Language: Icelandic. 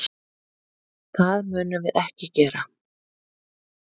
Það munum við ekki gera.